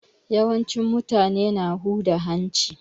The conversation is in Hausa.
Yawancin mutane na huda hanci.